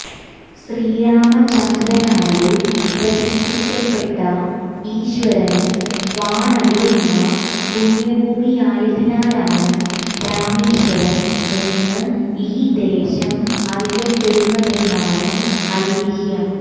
ശ്രീരാമചന്ദ്രനാല് പ്രതിഷ്ഠിക്കപ്പെട്ട ഈശ്വരന് വാണരുളുന്ന പുണ്യഭൂമിയായതിനാലാണ് രാമേശ്വരം എന്ന് ഈ ദേശം അറിയപ്പെടുന്നതെന്നാണ് ഐതിഹ്യം